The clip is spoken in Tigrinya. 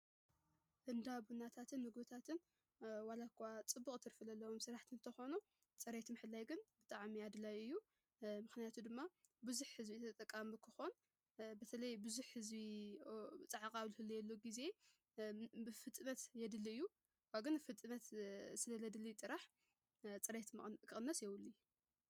እንዳ ቡናታትን መጐታትን ዋላኳ ጽቡቕ ትርፊ ለለዎም ስራሕትታት እንተኾኑ ፅሬየት ምሕለይ ግን ብጣዓሚ ኣድላይ እዩ፡፡ ምኽንያቱ ድማ ብዙሕ ሕዝቢ ተጠቃሚ ክኾን በተለይ ብዙሕ ሕዝቢ ፃዕቒ ዝህልወሉ ጊዜ ብፍጥነት የድልይ እዩ፡፡ ካብኡ ግን ፍጥነት ስለ ስለድልይ ጥራሕ ፅረየት ክቕንስ የብሉን